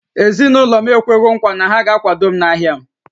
Ezinụlọ m ekwewo nkwa na ha ga-akwado m n’ahịa m